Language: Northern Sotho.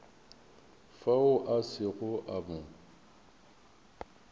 fao a sego a mo